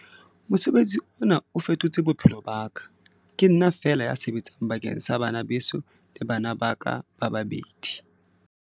"Mosebetsi ona o fetotse bophelo ba ka. Ke nna feela ya sebetsang bakeng sa bana beso le bana ba ka ba babedi."